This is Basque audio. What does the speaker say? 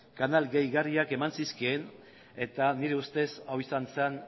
kanal gehigarriak eman zizkien eta nire ustez hau izan zen